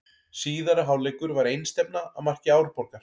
Síðari hálfleikur var einstefna að marki Árborgar.